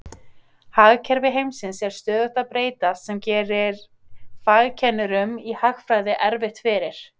Hagkerfi heimsins er stöðugt að breytast sem gerir fagkennurum i hagfræði erfitt fyrir.